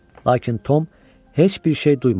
Lakin Tom heç bir şey duymadı.